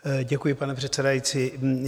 Děkuji, pane předsedající.